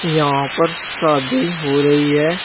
यहां पर शादी हो रही है।